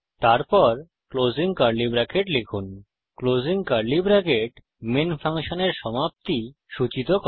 তারপর closing curly bracket লিখুন closing curly bracket main ফাংশনের সমাপ্তি সূচিত করে